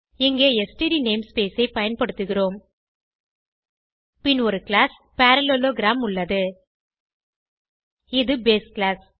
இங்கே std namespace ஐ பயன்படுத்துகிறோம் பின் ஒரு கிளாஸ் பரல்லேலோகிராம் உள்ளது இது பேஸ் கிளாஸ்